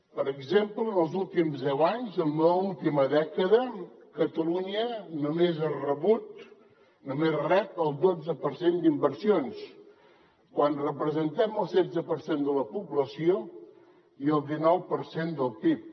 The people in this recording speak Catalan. per exemple en els últims deu anys en l’última dècada catalunya només rep el dotze per cent d’inversions quan representem el setze per cent de la població i el dinou per cent del pib